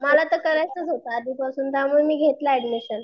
मला तर करायचंच होत आधीपासून त्यामुळे मी घेतलं ऍडमिशम.